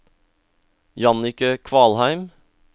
Jannicke Kvalheim